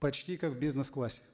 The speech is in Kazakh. почти как в бизнес классе